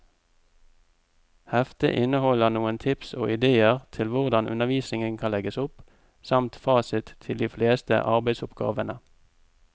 Heftet inneholder noen tips og idéer til hvordan undervisningen kan legges opp, samt fasit til de fleste arbeidsoppgavene.